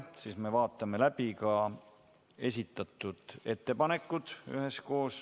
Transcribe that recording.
Vaatame üheskoos läbi ka esitatud ettepanekud.